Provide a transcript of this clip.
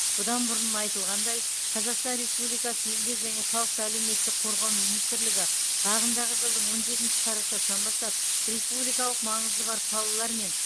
бұдан бұрын айтылғандай қазақстан республикасы еңбек және халықты әлеуметтік қорғау министрлігі ағымдағы жылдың он жетінші қарашасынан бастап республикалық маңызы бар қалалар мен